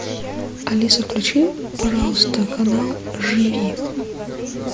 алиса включи пожалуйста канал живи